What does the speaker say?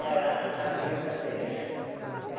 Era a vida deles.